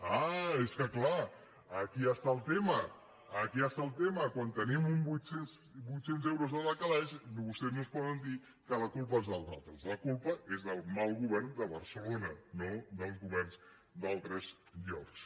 ah és que clar aquí està el tema aquí està el tema quan tenim vuit cents euros al calaix vostès no ens poden dir que la culpa és dels altres la culpa és del mal govern de barcelona no dels governs d’altres llocs